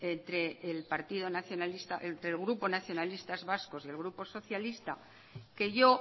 entre el grupo nacionalistas vascos y el grupo socialista que yo